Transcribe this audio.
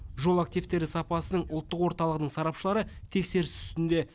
жол активтері сапасының ұлттық орталығының сарапшылары тексеріс үстінде